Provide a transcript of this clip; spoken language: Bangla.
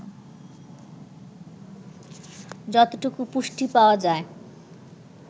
যতটুকু পুষ্টি পাওয়া যায়